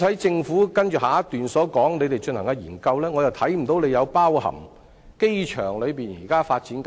政府在接下來一段提及正進行的研究，我卻看不到有包括機場現時的發展項目。